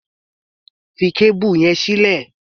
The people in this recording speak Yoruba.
Fi kábùrù yẹn sílẹ̀!